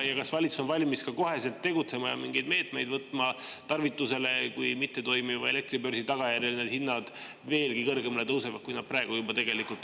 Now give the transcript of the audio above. Ja kas valitsus on valmis kohe tegutsema ja mingeid meetmeid võtma, kui mittetoimiva elektribörsi tagajärjel need hinnad veelgi kõrgemale tõusevad, kui nad juba praegu on?